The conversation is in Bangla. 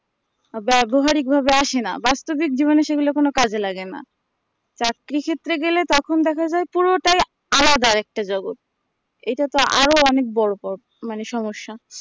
ব্যাবহারিক ভাবে আসে না বাস্তবিক জীবনে সেগুলো কোনো কাজে লাগেনা চাকরি ক্ষেত্রে গেলে তখন দেখা যাই পুরোটাই আলাদা একটা জগৎ এটাতে আরো অনেক বড়ো মানে সমস্যা